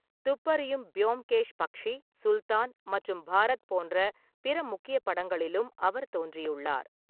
துப்பறியும் ப்யோம்கேஷ் பக்ஷி, சுல்தான் மற்றும் பாரத் போன்ற பிற முக்கிய படங்களிலும் அவர் தோன்றியுள்ளார்.